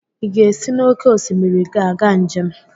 Ị ga-esi n'oké osimiri aga njem?